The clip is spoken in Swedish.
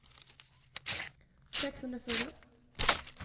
sexhundrafyra